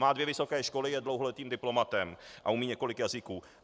Má dvě vysoké školy, je dlouholetým diplomatem a umí několik jazyků.